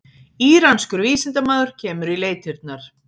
Íranskur vísindamaður kemur í leitirnar